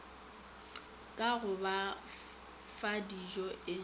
ka go ba fadijo e